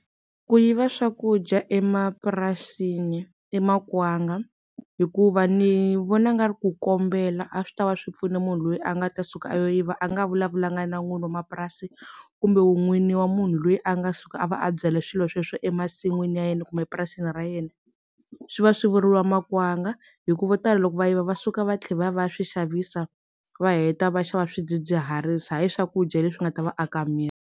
Ku yiva swakudya emapurasini i makwanga hikuva ni vona nga ri ku kombela a swi tava swi pfune munhu loyi a nga ta suka a yo yiva a nga vulavulanga na n'wini wa mapurasi kumbe n'wini wa munhu loyi a nga suka a va a byale swilo sweswo emasin'wini ya yena kumbe epurasini ra yena swi va swi vuriwa makwanga hikuva vo tala loko va yiva va suka va tlhela va ya va ya swi xavisa va heta va xava swidzidziharisi hayi swakudya leswi nga ta va aka miri.